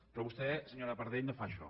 però vostè senyora pardell no fa això